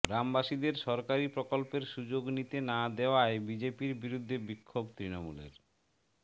গ্রামবাসীদের সরকারি প্রকল্পের সুযোগ নিতে না দেওয়ায় বিজেপির বিরুদ্ধে বিক্ষোভ তৃণমূলের